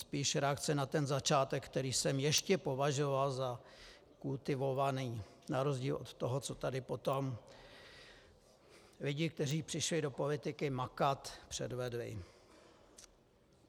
Spíš reakce na ten začátek, který jsem ještě považoval za kultivovaný na rozdíl od toho, co tady potom lidi, kteří přišli do politiky makat, předvedli.